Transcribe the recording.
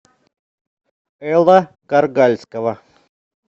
элла каргальского